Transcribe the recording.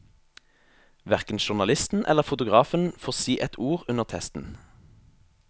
Hverken journalisten eller fotografen får si et ord under testen.